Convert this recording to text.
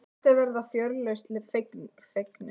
Flestir verða fjörlausn fegnir.